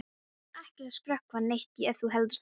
Ég er ekkert að skrökva neitt ef þú heldur það.